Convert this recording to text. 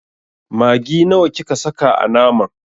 Maggi nawa kika saka a naman?